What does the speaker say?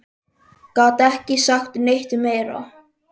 Gat ekki sagt neitt meira.